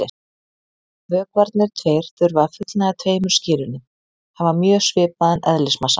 Vökvarnir tveir þurfa að fullnægja tveimur skilyrðum: Hafa mjög svipaðan eðlismassa.